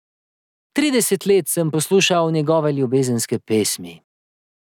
Trideset let sem poslušal njegove ljubezenske pesmi.